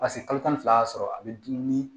Paseke kalo tan ni fila y'a sɔrɔ a bɛ dumuni